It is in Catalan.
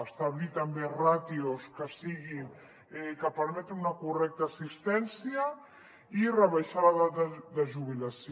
establir també ràtios que permetin una correcta assistència i rebaixar l’edat de jubilació